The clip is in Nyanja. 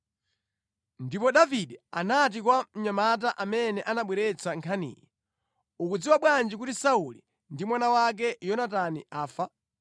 Ndipo Davide anati kwa mnyamata amene anabweretsa nkhaniyi, “Ukudziwa bwanji kuti Sauli ndi mwana wake Yonatani afa?”